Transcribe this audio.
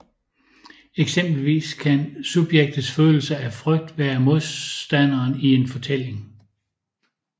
Eksempelvis kan subjektets følelse af frygt være modstanderen i en fortælling